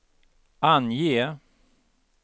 ange